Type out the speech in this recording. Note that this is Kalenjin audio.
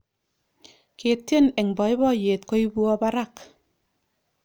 ketien eng poipoiyet koipwaa parak